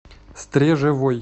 стрежевой